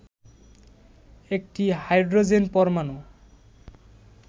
একটি হাইড্রোজেন পরমাণু